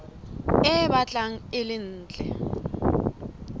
e batlang e le ntle